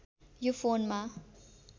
यो फोनमा